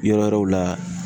Yɔrɔ wɛrɛw la